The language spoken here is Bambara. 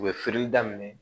U bɛ feereli daminɛ